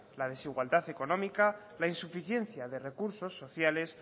la desigualdad económica la insuficiencia de recursos sociales